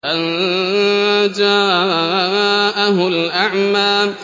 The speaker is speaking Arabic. أَن جَاءَهُ الْأَعْمَىٰ